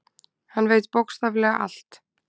Hann veit bókstaflega allt.